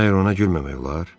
Məyər ona gülməmək olar?